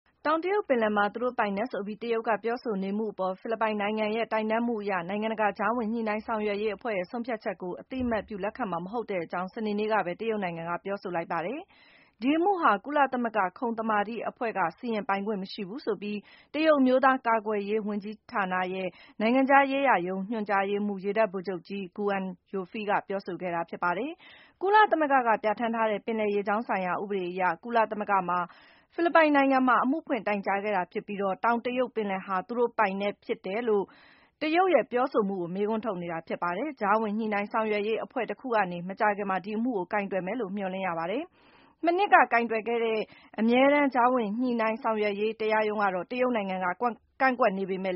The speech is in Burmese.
တောင်တရုတ်ပင်လယ်မှာ သူတို့ပိုင်နက်ဆိုပြီး တရုတ်က ပြောဆိုနေမှုတွေအပေါ် ဖိလစ်ပိုင်နိုင်ငံရဲ့ တိုင်တန်းမှုအရ နိုင်ငံတကာ ကြားဝင် ညှိနှိုင်း ဆောင်ရွက်ရေးအဖွဲ့ရဲ့ ဆုံးဖြတ်ချက်ကို အသိအမှတ်ပြု လက်ခံမှာ မဟုတ်တဲ့အကြောင်း စနေနေ့မှာပဲ တရုတ်နိုင်ငံက ပြောဆိုလိုက်ပါတယ်။ ရှင်းရှင်းပြောရမယ်ဆိုရင် - ဒီအမှုဟာ ကုလသမဂ္ဂ ခုံသမာဓိအဖွဲ့က စီရင်ပိုင်ခွင့် မရှိဘူးဆိုပြီး - တရုတ်အမျိုးသားကာကွယ်ရေး ဝန်ကြီးဌာနရဲ့ နိုင်ငံခြားရေးရာရုံး ညွှန်ကြားရေးမှူး ရေတပ်ဗိုလ်ချုပ်ကြီး Guan Youfei က ပြောဆိုခဲ့တာပါ။ ကုလသမဂ္ဂက ပြဌာန်းထားတဲ့ ပင်လယ်ရေကြောင်းဆိုင်ရာ ဥပဒေအရ ဖိလစ်ပိုင်နိုင်ငံက အမှုဖွင့် တိုင်ကြားပြီး၊ တရုတ်နိုင်ငံက တောင်တရုတ် ပင်လယ်ပြင်အတွင်း ပိုင်ဆိုင်ကြောင်း ပြောဆိုမှု အပေါ်ု မေးခွန်းထုတ်နေတာ ဖြစ်ပါတယ်။ အမှုကိုတော့ ကြားဝင် ညှိနှိုင်း ဆောင်ရွက်ရေးအဖွဲ့ တခုကနေ မကြာခင်မှာ ကိုင်တွယ်မယ်လို့ မျှော်လင့်ရပါတယ်။ ကြားဝင်ညှိနှိုင်းဆောင်ရွက်ရေးဆိုင်ရာ တရားရုံးကတော့ တရုတ်နိုင်ငံက ကန့်ကွက်နေတဲ့